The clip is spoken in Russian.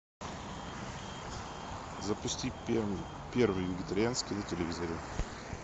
запусти первый вегетарианский на телевизоре